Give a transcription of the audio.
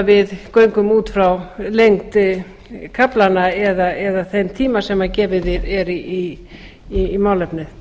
við göngum út frá lengd kaflanna eða þeim tíma sem gefinn er málefnið